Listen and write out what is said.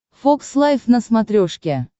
фокс лайф на смотрешке